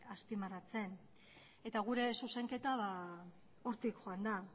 azpimarratzen eta gure zuzenketa hortik joan da